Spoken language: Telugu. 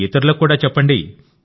ఇతరులకు కూడా చెప్పండి